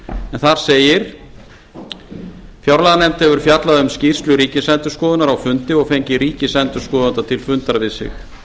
en þar segir fjárlaganefnd hefur fjallað um skýrslu ríkisendurskoðunar á fundi og fengið ríkisendurskoðanda til fundar við sig